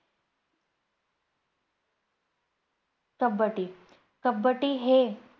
कब्बडी. कब्बडी हे